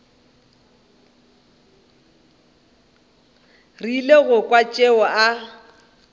rile go kwa tšeo a